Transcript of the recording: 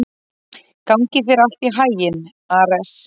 Gangi þér allt í haginn, Ares.